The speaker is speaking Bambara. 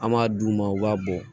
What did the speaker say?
An b'a d'u ma u b'a bɔ